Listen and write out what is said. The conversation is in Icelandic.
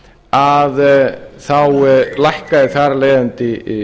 að þá lækkað þar af leiðandi